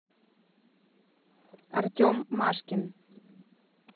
артем машкин